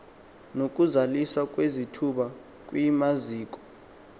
nokuzaliswa kwezithuba kwimaziko